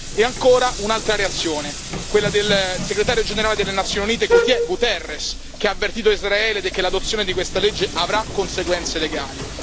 E ancora un'altra reazione, quella del Segretario generale delle Nazioni Unite Guterres, che ha avvertito Israele che l'adozione di questa legge avrà conseguenze legali.